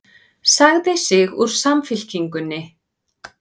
Sagði sig úr Samfylkingunni